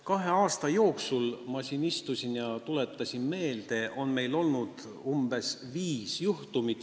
Kahe aasta jooksul – ma siin istusin ja tuletasin meelde – on meil olnud umbes viis sellist juhtumit.